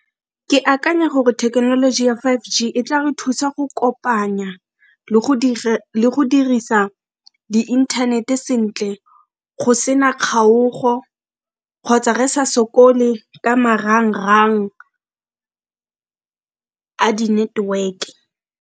Ke akanya gore thekenoloji ya five G e tla re thusa go kopanya le go dirisa di-internet sentle go sena kgaogo kgotsa re sa sokole ka marang-rang a di network.